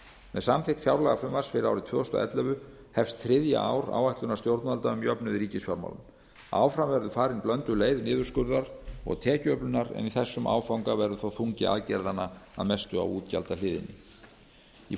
með samþykkt fjárlagafrumvarps fyrir árið tvö þúsund og ellefu hefst þriðja ár áætlunar stjórnvalda um jöfnuð í ríkisfjármálum áfram verður farin blönduð leið niðurskurðar og tekjuöflunar en í þessum áfanga verður þó þungi aðgerðanna að mestu á útgjaldahliðinni í